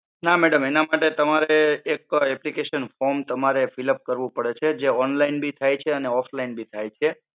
ના madam એના માટે તમારે એક application form તમારે fill up કરવું પડે છે તે online બી થાય છે અને offline બી થાય છે.